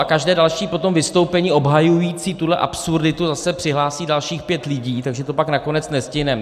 A každé další potom vystoupení obhajující tuhle absurditu zase přihlásí dalších pět lidí, takže to pak nakonec nestihneme.